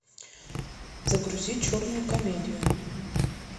загрузи черную комедию